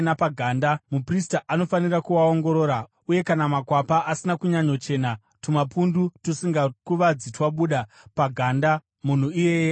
muprista anofanira kuaongorora uye kana makwapa asina kunyanyochena, tumapundu tusingakuvadzi twabuda paganda, munhu iyeye akachena.